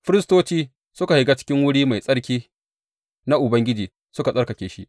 Firistoci suka shiga cikin wuri mai tsarki na Ubangiji suka tsarkake shi.